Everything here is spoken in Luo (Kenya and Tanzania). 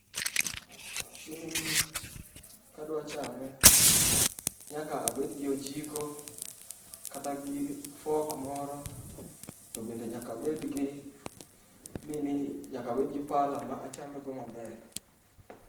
Chiemoni kadwa chame nyaka abed gi ojiko kata gi fork moro to bende nyaka abed gi nini[cs[ nyaka abed gi pala ma achame go maber.